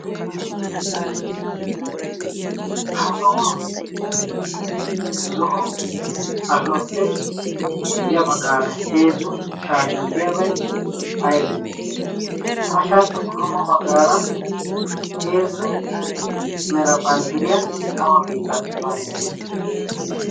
ha sawan zo'o ashoppe ya baggaara heezzu shaatiyan deyaabai aybe ha shaatatuppa qommo baggaara heezzu mera banddiriyaa awa beetta banddire?